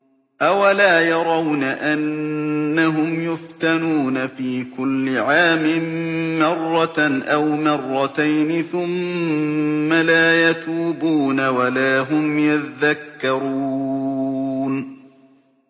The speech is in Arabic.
أَوَلَا يَرَوْنَ أَنَّهُمْ يُفْتَنُونَ فِي كُلِّ عَامٍ مَّرَّةً أَوْ مَرَّتَيْنِ ثُمَّ لَا يَتُوبُونَ وَلَا هُمْ يَذَّكَّرُونَ